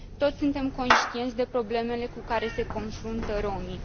Toți suntem conștienți de problemele cu care se confruntă romii.